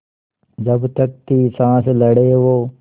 जब तक थी साँस लड़े वो